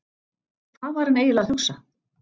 Hvað var hann eiginlega að hugsa!